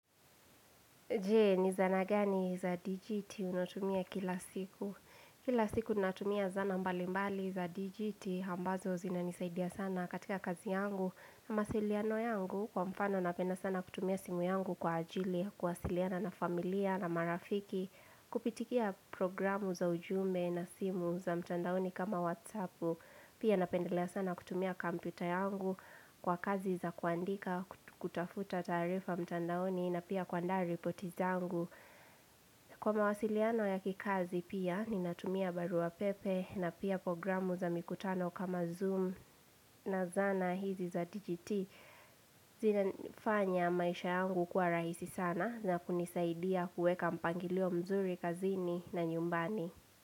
Je, ni zana gani za dijiti unatumia kila siku. Kila siku natumia zana mbali mbali za dijiti ambazo zinanisaidia sana katika kazi yangu. Na masiliano yangu kwa mfano napenda sana kutumia simu yangu kwa ajili ya kuwasiliana na familia na marafiki. Kupitikia programu za ujumbe na simu za mtandaoni kama WhatsApp. Pia napendelea sana kutumia kampyuta yangu kwa kazi za kuandika kutafuta taarifa mtandaoni na pia kuandaa ripoti zangu. Kwa mawasiliano ya kikazi pia, ninatumia baruapepe na pia programu za mikutano kama Zoom na zana hizi za DGT. Zinafanya maisha yangu kuwa rahisi sana na kunisaidia kueka mpangilio mzuri kazini na nyumbani.